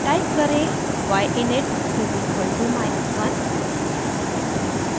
type करें: y init = minus 1